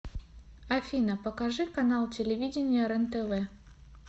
афина покажи канал телевидения рентв